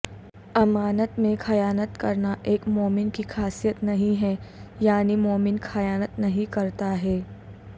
امانت میں خیانت کرنا ایک مومن کی خاصیت نہیں ہے یعنی مومن خیانت نہیں کرتاہے